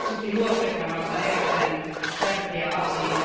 Tämä on varsinkin nuorten kannalta erittäin tärkeä asia.